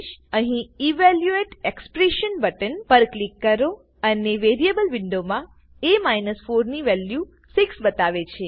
અહી evaluate expression button પર click કરોઅને વેરીએબલ વિન્ડોમાં એ 4 ની વેલ્યુ 6 બતાવે છે